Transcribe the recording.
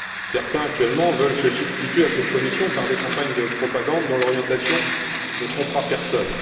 Certains, actuellement, veulent se substituer à cette commission par des campagnes de propagande dont l'orientation ne trompera personne.